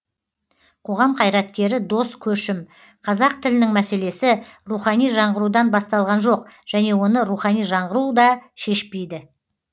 қоғам қайраткері дос көшім қазақ тілінің мәселесі рухани жаңғырудан басталған жоқ және оны рухани жаңғыру да шешпейді